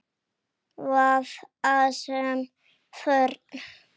Vafasöm fórn.